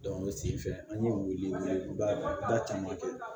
o senfɛ an ye wele wele da caman kɛ